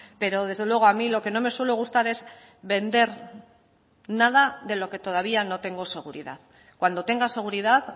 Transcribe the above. pero desde luego a mí lo que no me suele gustar es vender nada de lo que todavía no tengo seguridad cuando tenga seguridad